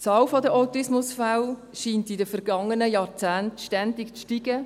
Die Zahl der Autismusfälle scheint in den vergangenen Jahrzehnten ständig zu steigen.